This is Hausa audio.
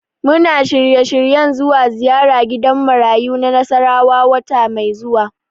Muna shirye-shiryen zuwa ziyara gidan marayu na Nasarawa wata mai zuwa.